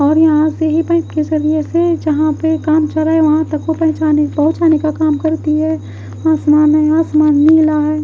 और यहा से ही पाइप के सरिये से जहां पे काम चल रहा वहां तक को पहेचाने पहोचाने का काम करती है आसमान है आसमान नीला है।